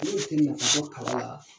ka bɔ kala la